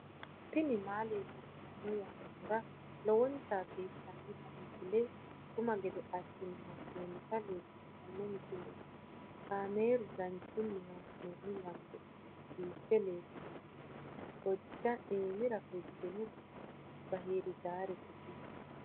tini maa leelishshanno yaannohura lowonta biiffanota misile xuma gede assine haa'noonnita leellishshanno misileeti kaameru danchunni haa'noonni lamboe biiffe leeeltanno hiojja iimira fultinoti bahirdaafete tini